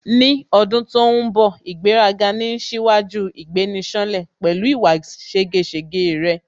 Ní ọdún tó ń bọ̀ ' ìgbéraga ni ń ṣíwájú ìgbéni-ṣánlẹ̀" pẹ̀lú ìwà ségesège rẹ̀